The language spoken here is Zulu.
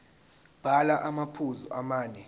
bhala amaphuzu amane